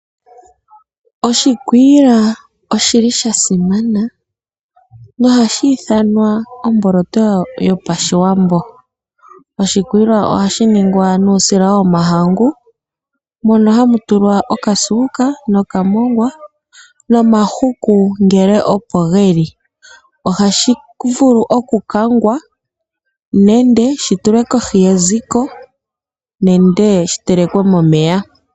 Oshikwiila oshi li sha simana ohashi ithanwa omboloto yopashiwambo. Oshikwiila ohashi ningwa nuusila womahangu mono hamu tulwa okasuuka nokamongwa, nomahuku ngele opo geli. Ohashi vulu okukangwa nenge shi tulwe kohi, yeziko nenge shi telekwe momeya.